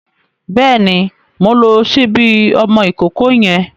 Bẹ́ẹ̀ni, mo ti ń lo ṣíbí ọmọ ìkókó yẹn.